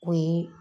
O ye